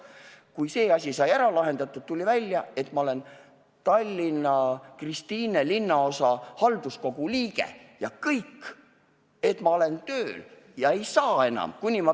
Kui see asi sai lahendatud, tuli aga välja, et ma olen Tallinna Kristiine linnaosa halduskogu liige ja kõik – ma olevat tööl ja ei saa enam toetust.